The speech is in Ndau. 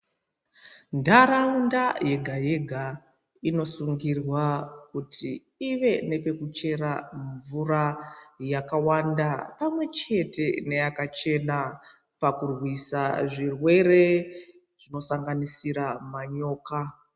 Ntaraunda yega yega inosungurwa kutii ive nepekuchera mvura yakawanda pamwechete neyakachena pakurwisa zvirwere zvinoshanganisira manyoka.